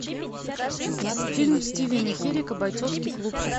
фильм стивена херека бойцовский клуб